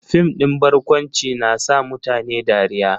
Fim din barkwanci na sa mutane dariya